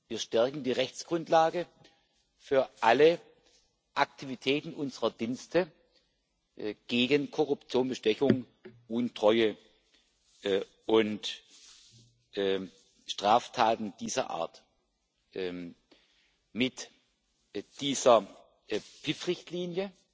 Wir stärken die Rechtsgrundlage für alle Aktivitäten unserer Dienste gegen Korruption, Bestechung, Untreue und Straftaten dieser Art mit dieser PIF Richtlinie